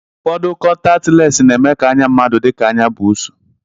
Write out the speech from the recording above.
Ụfọdụ kọntaktị les na-eme ka anya mmadụ dịka anya buusu